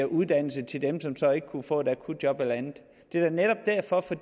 uddannelse til dem som så ikke kunne få et akutjob eller andet det er da netop derfor for